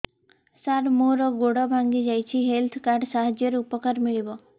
ସାର ମୋର ଗୋଡ଼ ଭାଙ୍ଗି ଯାଇଛି ହେଲ୍ଥ କାର୍ଡ ସାହାଯ୍ୟରେ ଉପକାର ମିଳିବ